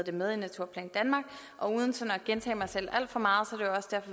det med i naturplan danmark og uden at gentage mig selv alt for meget